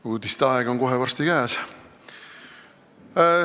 Uudiste aeg on kohe varsti käes.